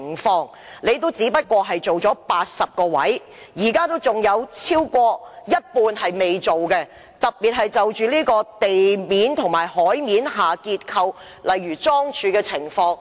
當局只在80個位置進行測試，仍有超過一半未進行測試，特別是地面及海面的結構，例如樁柱。